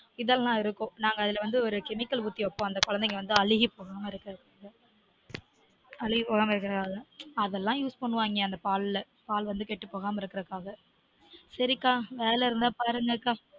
இதெல்லாம் இருக்கும் நாங்க அதுல வந்து ஒரு chemical ஊத்தி வைப்பொம் அந்த குழந்தைங்க வந்து அழுகி போகாம இருக்குறதுக்கு அழுகி போகாம இருக்கிறதுனால அதெல்லான் use பண்ணுவாங்க பால்ல பால் வந்து கெட்டு போகாம இருக்குறதுக்காக சரி கா வேல இருந்தா பாரு